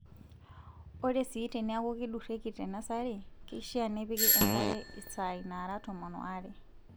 Ore sii teniaku kidurrieki te nasari keishaa nipiki enkare isaai naara tomon waare.